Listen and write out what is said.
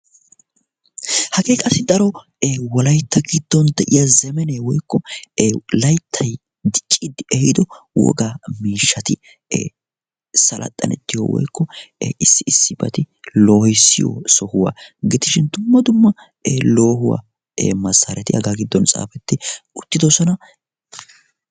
hagee qassi layttay ehiido wolaytta ewogaa ee issi sohuwa gidishi dumma dumma looguwa malatiyaaga giddon wottidosona.